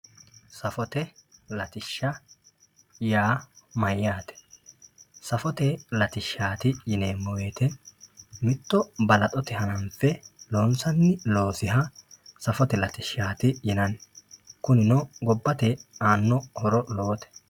safote latishsha yaa mayaate safote latishshaati yineemo woyiite mitto balaxote hananfe loonsanni loosiha safote latishshaati yinanni kunino gobbate aano horo lowote.